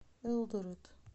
элдорет